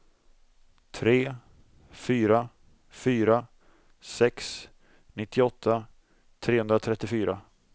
tre fyra fyra sex nittioåtta trehundratrettiofyra